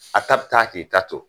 A ta bɛ taa k'i ta to